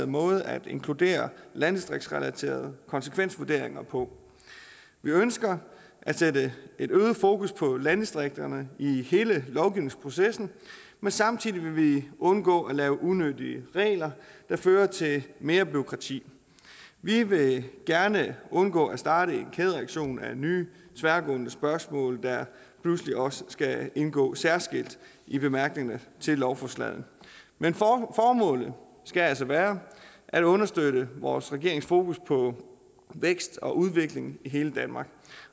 måde at inkludere landdistriktsrelaterede konsekvensvurderinger på vi ønsker at sætte et øget fokus på landdistrikterne i hele lovgivningsprocessen men samtidig vil vi undgå at lave unødige regler der fører til mere bureaukrati vi vil gerne undgå at starte en kædereaktion af nye tværgående spørgsmål der pludselig også skal indgå særskilt i bemærkningerne til lovforslagene men formålet skal altså være at understøtte vores regerings fokus på vækst og udvikling i hele danmark